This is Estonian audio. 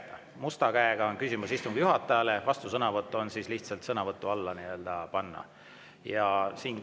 Must käsi küsimust istungi juhatajale, vastusõnavõtt tuleb lihtsalt sõnavõtu all.